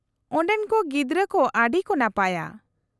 -ᱚᱸᱰᱮᱱ ᱠᱚ ᱜᱤᱫᱽᱨᱟᱹ ᱠᱚ ᱟᱹᱰᱤ ᱠᱚ ᱱᱟᱯᱟᱭᱟ ᱾